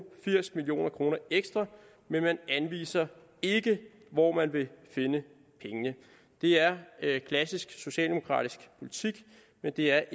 firs million kroner ekstra men man anviser ikke hvor man vil finde pengene det er klassisk socialdemokratisk politik men det er